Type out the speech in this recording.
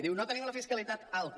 diu no tenim la fiscalitat alta